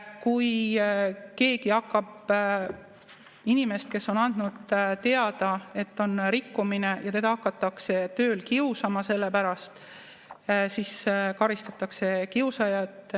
Kui keegi hakkab inimest, kes on andnud teada, et on rikkumine, tööl kiusama selle pärast, siis karistatakse kiusajaid.